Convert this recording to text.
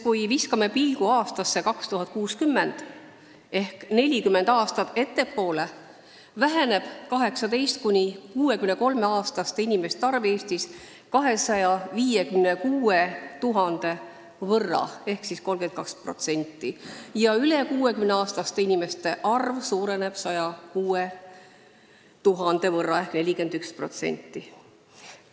Kui me viskame pilgu aastasse 2060 ehk 40 aastat ettepoole, siis näeme, et 18–63-aastaste inimeste arv Eestis on vähenenud 256 000 võrra ehk 32% ja üle 60-aastaste inimeste arv on suurenenud 106 000 võrra ehk 41%.